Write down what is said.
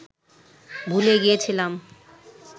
ভুলে গিয়েছিলাম